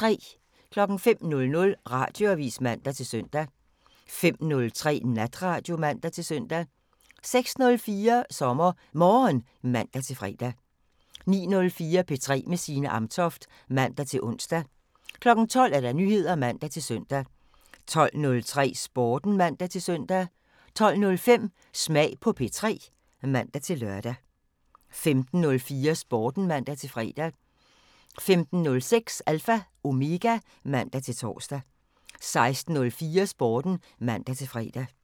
05:00: Radioavisen (man-søn) 05:03: Natradio (man-søn) 06:04: SommerMorgen (man-fre) 09:04: P3 med Signe Amtoft (man-ons) 12:00: Nyheder (man-søn) 12:03: Sporten (man-søn) 12:05: Smag på P3 (man-lør) 15:04: Sporten (man-fre) 15:06: Alpha Omega (man-tor) 16:04: Sporten (man-fre)